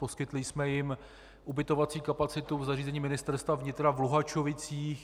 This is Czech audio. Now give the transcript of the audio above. Poskytli jsme jim ubytovací kapacitu v zařízení Ministerstva vnitra v Luhačovicích.